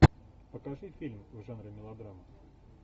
покажи фильм в жанре мелодрама